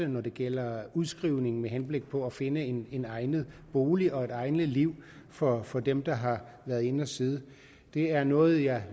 når det gælder udskrivning med henblik på at finde en en egnet bolig og et egnet liv for for dem der har været inde at sidde det er noget jeg